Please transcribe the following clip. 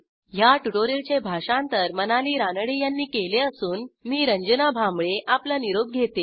ह्या ट्युटोरियलचे भाषांतर मनाली रानडे यांनी केले असून मी रंजना भांबळे आपला निरोप घेते160